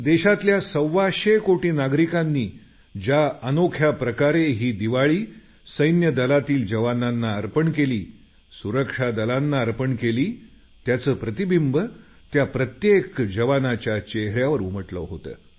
देशातल्या सव्वाशे कोटी नागरिकांनी ज्या अनोख्या प्रकारे ही दिवाळी सैन्यादलातील जवानांना अर्पण केली सुरक्षा दलांना अर्पण केली त्याचं प्रतिबिंब त्या प्रत्येक जवानाच्या चेहऱ्यावर उमटलं होतं